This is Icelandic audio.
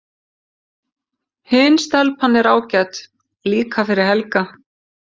Hin stelpan er ágæt líka fyrir Helga.